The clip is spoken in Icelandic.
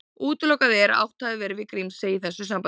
Útilokað er að átt hafi verið við Grímsey í þessu sambandi.